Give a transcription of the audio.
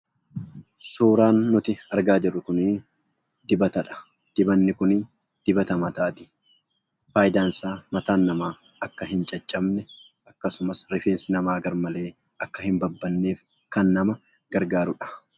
Suuraan nuti argaa jirru kunii dibatadha. Dubanni kun dibata mataati faayidaan isaa mataan nama akka in caccabne akkasumas, rifeensi nama garmalee akka hin babbanneef kan nama gargaarudha.